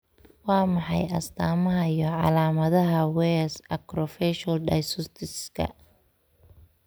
Waa maxay astamaha iyo calaamadaha Weyers acrofacial dysostosiska?